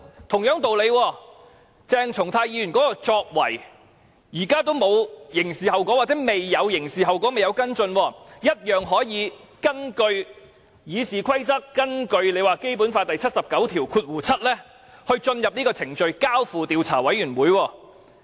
同樣道理，鄭松泰議員的作為至今仍未有刑事後果，仍未跟進，謝偉俊議員卻可以引用《議事規則》和《基本法》第七十九條第七項下的程序，交付予調查委員會處理。